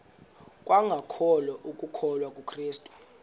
kwangokholo lokukholwa kukrestu